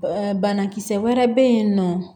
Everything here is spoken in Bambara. Banakisɛ wɛrɛ bɛ yen nɔ